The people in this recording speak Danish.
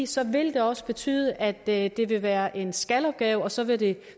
så vil det også betyde at det vil være en skal opgave og så vil det